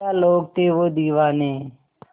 क्या लोग थे वो दीवाने